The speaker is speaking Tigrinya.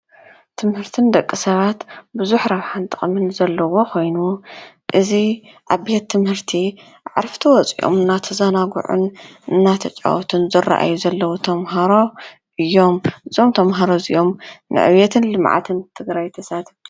ትምህርቲ ንደቂ ሰባት ብዙሕ ረብሓን ጥቅምን ዘለዎ ኮይኑ እዚ ኣብ ቤት ትምህርቲ ዕርፍቲ ወፅኦም እናተዛናዑ እናተጫወቱን ዝረእዩ ዘለው ተምሃሮ እዩም፡፡ እዞም ተምሃሮ እዚኦም ንዕብየት ልምዓትን ትግራይ ተሳተፍቲ